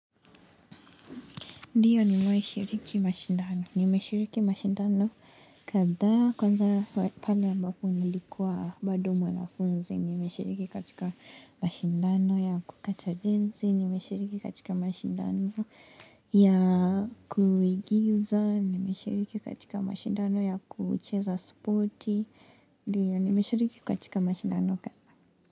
Ndiyo nimewahi shiriki mashindano, nimeshiriki mashindano kadha kwanza pale ambapo nilikuwa bado mwanafunzi, nimeshiriki katika mashindano ya kukata densi, nimeshiriki katika mashindano ya kuigiza, nimeshiriki katika mashindano ya kucheza sporti, ndiyo nimeshiriki katika mashindano kadhaa.